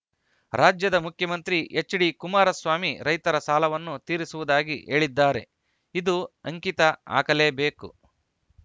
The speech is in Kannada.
ರಾಜ್ಯದ ಮುಖ್ಯಮಂತ್ರಿ ಎಚ್‌ಡಿಕುಮಾರಸ್ವಾಮಿ ರೈತರ ಸಾಲವನ್ನು ತೀರಿಸುವುದಾಗಿ ಹೇಳಿದ್ದಾರೆ ಇದು ಅಂಕಿತ ಹಾಕಲೇಬೇಕು